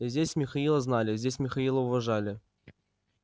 и здесь михаила знали и здесь михаила уважали